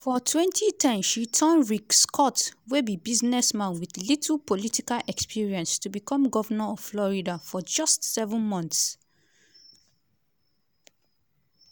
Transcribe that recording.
for 2010 she turn rick scott wey be businessman wit little political experience to become govnor of florida for just seven months.